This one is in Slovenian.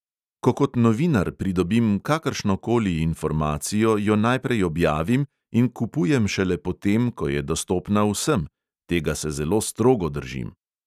Ko kot novinar pridobim kakršnokoli informacijo, jo najprej objavim in kupujem šele potem, ko je dostopna vsem – tega se zelo strogo držim.